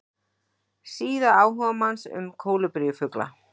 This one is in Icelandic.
Síða áhugamanns um kólibrífugla.